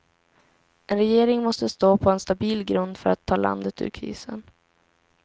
En regering måste stå på en stabil grund för att ta landet ur krisen.